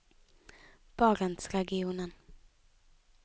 barentsregionen